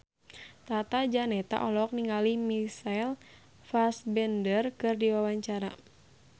Tata Janeta olohok ningali Michael Fassbender keur diwawancara